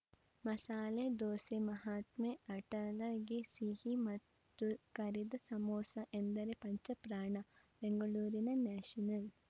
ಮಸಾಲೆ ದೋಸೆ ಮಹಾತ್ಮೆ ಅಟಲಗೆ ಸಿಹಿ ಮತ್ತು ಕರಿದ ಸಮೋಸಾ ಎಂದರೆ ಪಂಚಪ್ರಾಣ ಬೆಂಗಳೂರಿನ ನ್ಯಾಷನಲ್